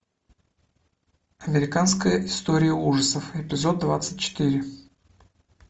американская история ужасов эпизод двадцать четыре